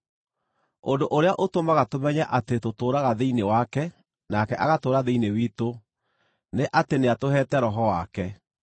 Ũndũ ũrĩa ũtũmaga tũmenye atĩ tũtũũraga thĩinĩ wake nake agatũũra thĩinĩ witũ, nĩ atĩ nĩatũheete Roho wake.